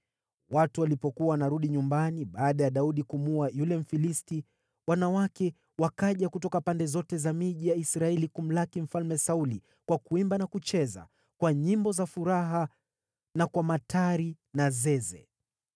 Watu walipokuwa wanarudi nyumbani baada ya Daudi kumuua yule Mfilisti, wanawake wakaja kutoka pande zote za miji ya Israeli kumlaki Mfalme Sauli kwa kuimba na kucheza, kwa nyimbo za furaha na kwa matari na zeze.